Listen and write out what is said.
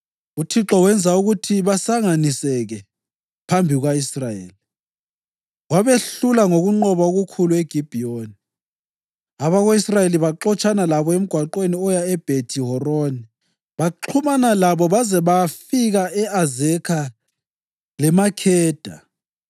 UThixo wenza ukuthi basanganiseke phambi kuka-Israyeli, wabehlula ngokunqoba okukhulu eGibhiyoni. Abako-Israyeli baxotshana labo emgwaqweni oya eBhethi-Horoni, baxhumana labo baze bayafika e-Azekha leMakheda.